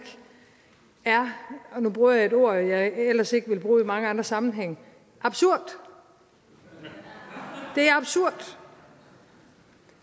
er og nu bruger jeg et ord jeg ellers ikke ville bruge i mange andre sammenhænge absurd det er absurd